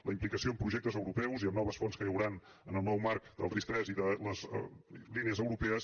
la implicació en projectes europeus i en noves fonts que hi hauran en el nou marc del ris3 i de les línies europees